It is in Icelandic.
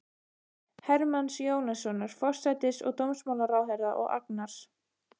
Hermanns Jónassonar, forsætis- og dómsmálaráðherra, og Agnars